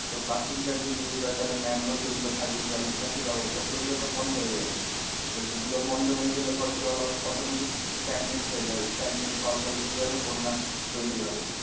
তো plastic bag যদি use হয় তাহলে তাহলে manhole যেগুলো থাকবে জল নিকাশি ব্যবস্থা সেগুলো তো বন্ধ হয়ে যাবে। তো সেগুলো বন্ধ হয়ে গেলে পরে জল automatic stagnant হয়ে যাবে। stagnant হওয়ার ফলে কি হবে বন্যা তৈরী হবে।